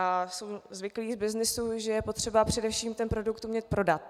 A jsou zvyklí z byznysu, že je potřeba především ten produkt umět prodat.